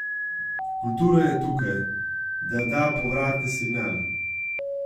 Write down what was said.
Kultura je tukaj, da da povratni signal.